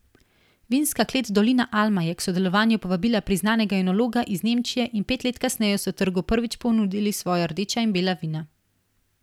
Vinska klet Dolina Alma je k sodelovanju povabila priznanega enologa iz Nemčije, in pet let kasneje so trgu prvič ponudili svoja rdeča in bela vina.